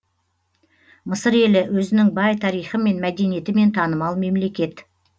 мысыр елі өзінің бай тарихы мен мәдениетімен танымал мемлекет